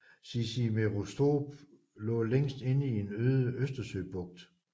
Cicimeresthorp lå længst inde i en øde Østersøbugt